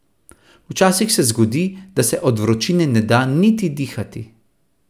Včasih se zgodi, da se od vročine ne da niti dihati.